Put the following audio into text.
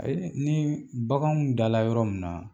Ayi ni baganw dala yɔrɔ mun na